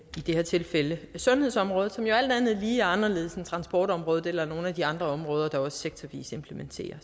her tilfælde sundhedsområdet som jo alt andet lige er anderledes end transportområdet og nogle af de andre områder der også sektorvis implementerer